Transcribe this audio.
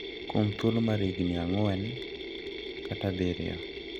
Kuom thuolo mar higni ang`wen kata abiriyo.